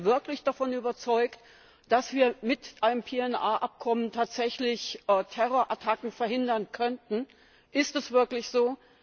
Sind wir wirklich davon überzeugt, dass wir mit einem PNR Abkommen tatsächlich Terrorattacken verhindern könnten? Ist es wirklich